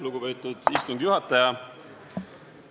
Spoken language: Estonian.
Lugupeetud istungi juhataja!